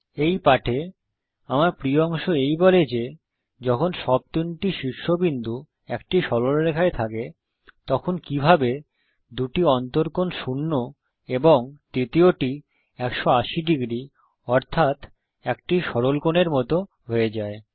এই পাঠে আমার প্রিয় অংশ এই বলে যে যখন সব তিনটি শীর্ষবিন্দু একটি সরল রেখায় থাকে তখন কিভাবে দুটি অন্তকোণ শূন্য এবং তৃতীয়টি ১৮০ ডিগ্রী অর্থাত একটি সরলকোণের মত হয়ে যায়